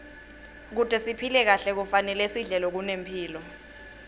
kute siphile kahle kufanele sidle lokunemphilo